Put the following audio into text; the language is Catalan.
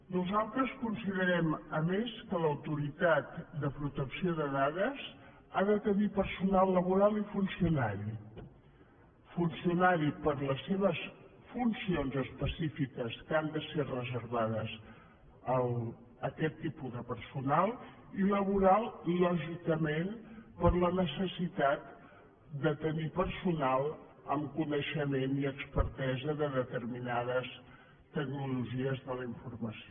nosaltres considerem a més que l’autoritat de protecció de dades ha de tenir personal laboral i funcionari funcionari per les seves funcions específiques que han de ser reservades a aquest tipus de personal i laboral lògicament per la necessitat de tenir personal amb coneixement i expertesa de determinades tecnologies de la informació